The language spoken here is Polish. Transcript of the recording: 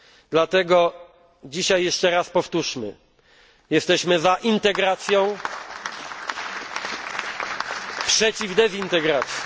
Dlatego dzisiaj jeszcze raz powtórzmy jesteśmy za integracją, przeciw dezintegracji.